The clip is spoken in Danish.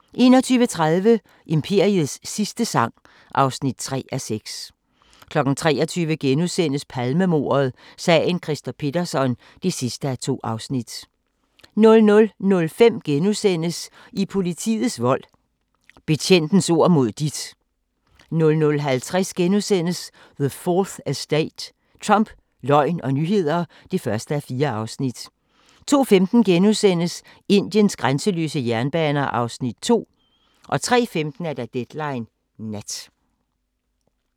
21:30: Imperiets sidste sang (3:6) 23:00: Palmemordet: Sagen Christer Pettersson (2:2)* 00:05: I politiets vold: Betjentens ord mod dit * 00:50: The 4th Estate – Trump, løgn og nyheder (1:4)* 02:15: Indiens grænseløse jernbaner (2:3)* 03:15: Deadline Nat